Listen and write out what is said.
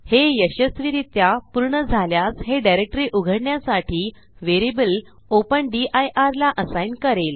हे यशस्वीरित्या पूर्ण झाल्यास हे डिरेक्टरी उघडण्यासाठी व्हेरिएबल ओपन दिर ला असाईन करेल